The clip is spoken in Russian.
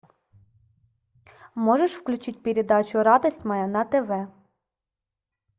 можешь включить передачу радость моя на тв